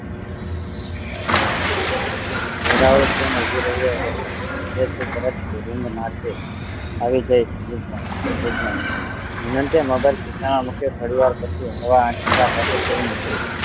વેરાવ train ઉભી રહી રહે તે તરત જ ring માર જે આવી જઈશ good night good night હેમંતે મોબાઈલ ઢેકાણે મુક્યો થોડી વાર પછી હળવે આંચકા સાથે train ઉપડી